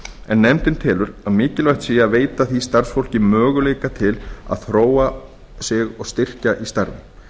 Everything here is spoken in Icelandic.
en nefndin telur að mikilvægt sé að veita því starfsfólki möguleika til að þróa sig og styrkja í starfi